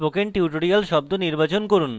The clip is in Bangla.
spoken tutorial শব্দ নির্বাচন করুন